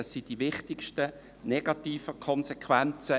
Dies sind die wichtigsten negativen Konsequenzen.